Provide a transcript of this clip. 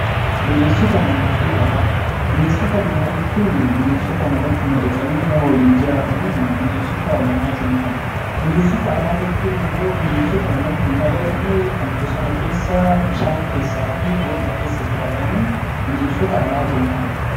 Bineensota manaa jechuun bineensota namatti madaqanii nama waliin jiraataniin bineensota manaa jennaan. Bineensota alaa jechuun immoo bineensota namatti hin madaqne kan bosona keessa, bishaan keessaa fi boolla keessa jiraataniin bineensota alaa jennaan.